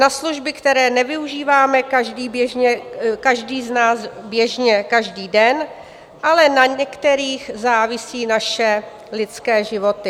Na služby, které nevyužíváme každý z nás běžně každý den, ale na některých závisí naše lidské životy.